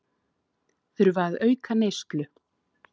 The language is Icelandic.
Þurfa að auka neyslu